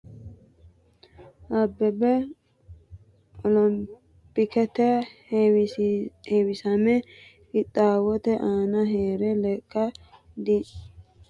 Abbebe olompikete heewisamara qixxaawote aana hee’re lekka dhi- wame rosiisi’ra agurirono heewote beeqqe kilo meetire geesh- sha beeqqe haakkiinni Maammo Woldeha eeggatena jawaati yee fulinohu diro gobbaraati.